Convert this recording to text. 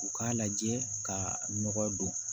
U k'a lajɛ ka nɔgɔ don